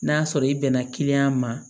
N'a sɔrɔ i bɛnna ma